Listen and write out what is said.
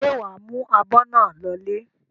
Ṣé wà á mú abọ́ náà lọlé?